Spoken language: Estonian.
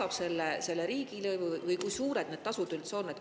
Kes maksab selle riigilõivu või kui suured need tasud üldse on?